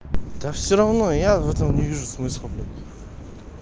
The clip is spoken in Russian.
да всё равно я в этом не вижу смысла бля